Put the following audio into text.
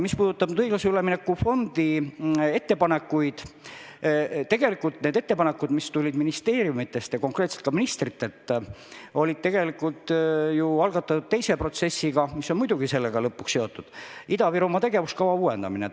Mis puudutab õiglase ülemineku fondi ettepanekuid ehk siis ettepanekuid, mis tulid ministeeriumidest ja ka konkreetselt ministritelt, siis need olid tegelikult algatatud teise protsessiga, mis on muidugi sellega seotud: see on Ida-Virumaa tegevuskava uuendamine.